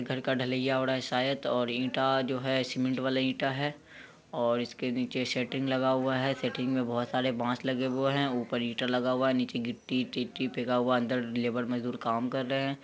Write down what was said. घर का ढलाईया हो रहा है शायद ईटा जो है सीमेंट वाला ईटा है। और इसके नीचे सेटिंग लगा हुआ है। सेटिंग में बहुत सारे बांस लगे हुए हैं। ऊपर ईटा लगा हुआ है। नीचे गिट्टी टिटटी फेका हुआ है अंदर लेबर मजदूर काम कर रहे हैं।